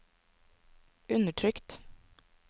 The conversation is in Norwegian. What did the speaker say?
undertrykt